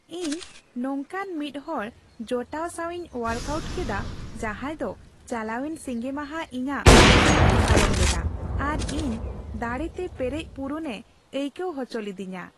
ᱤᱧ ᱱᱚᱝᱠᱟᱱ ᱢᱤᱫ ᱦᱚᱲ ᱡᱚᱴᱟᱣ ᱥᱟᱣᱤᱧ ᱚᱣᱟᱨᱠᱼᱟᱣᱩᱴ ᱠᱮᱫᱟ ᱡᱟᱦᱟᱸᱭ ᱫᱚ ᱪᱟᱞᱟᱣᱮᱱ ᱥᱤᱸᱜᱮ ᱢᱟᱦᱟ ᱤᱧᱟᱜ ᱥᱤᱢᱟᱹᱭ ᱯᱟᱨᱚᱢ ᱞᱮᱫᱟ ᱟᱨ ᱤᱧ ᱫᱟᱲᱮᱛᱮ ᱯᱮᱨᱮᱡ ᱯᱩᱨᱩᱱᱮ ᱟᱹᱭᱠᱟᱹᱣ ᱟᱪᱚ ᱞᱤᱫᱤᱧᱟ ᱾